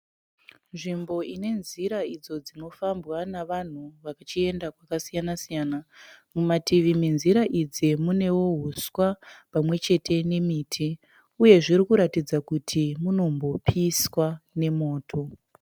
Nzvimbo ine nzira idzo dzinofambwa navanhu vachienda kwakasiyana siyana. Mumativi menzira idzi munewo huswa pamwe chete nemiti, uye zviri kuratidza kuti munombopiswa nemoto.